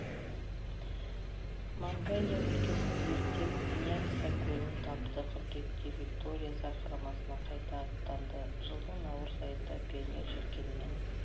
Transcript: манганья өлкесін зерттеп ньясса көлін тапты қыркүйекте виктория сарқырамасына қайта аттанды жылдың наурыз айында пионер желкенімен